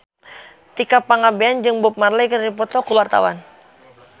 Tika Pangabean jeung Bob Marley keur dipoto ku wartawan